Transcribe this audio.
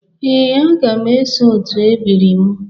Ee, aga m eso otu ebiri m.